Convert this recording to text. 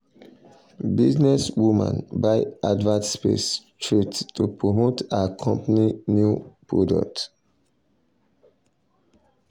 businesswoman buy advert space straight to promote her um company um new um product.